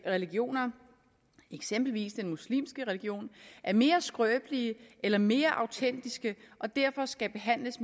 religioner eksempelvis den muslimske religion er mere skrøbelige eller mere autentiske og derfor skal behandles